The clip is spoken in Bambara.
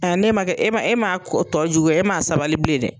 ne man kɛ e man e man tɔ juguya e man a sabali bilen dɛ.